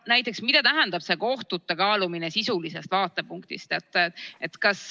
Näiteks, mida tähendab see kohtute kaalumine sisulisest vaatepunktist?